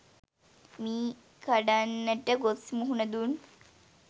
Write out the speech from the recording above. මී කඩන්නට ගොස් මුහුණ දුන්